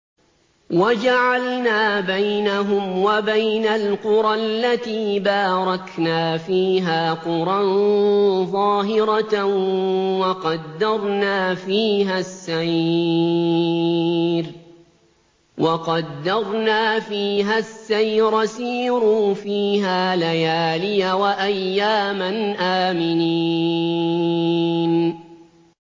وَجَعَلْنَا بَيْنَهُمْ وَبَيْنَ الْقُرَى الَّتِي بَارَكْنَا فِيهَا قُرًى ظَاهِرَةً وَقَدَّرْنَا فِيهَا السَّيْرَ ۖ سِيرُوا فِيهَا لَيَالِيَ وَأَيَّامًا آمِنِينَ